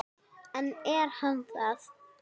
En er hann það?